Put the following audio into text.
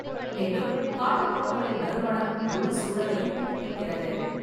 மேலும், காட்டுப்பூக்களின் நறுமணம் முழு சூழலையும் புதுப்பிக்கிறது.